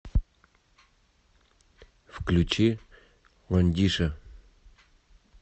включи ландиша